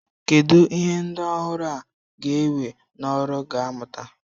Kedu ihe ndị ọhụrụ a ga-ewe n'ọrụ ga-amụta?